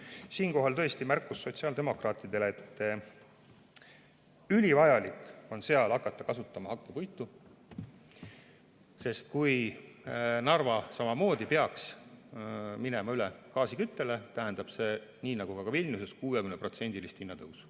Siinkohal on märkus sotsiaaldemokraatidele, et ülivajalik on seal hakata kasutama hakkepuitu, sest kui Narva peaks samamoodi minema üle gaasiküttele, tähendab see nii nagu Vilniuses 60%‑list hinnatõusu.